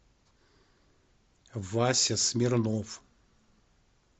вася смирнов